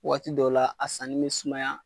Waati dɔw la a sanni bɛ sumaya.